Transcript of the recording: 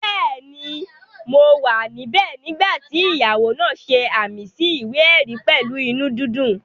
Bẹ́ẹ̀ni, mo wà níbẹ̀ nígbà tí ìyàwó náà ṣe ààmì sí ìwé-ẹ̀rí pẹ̀lú inú dídùn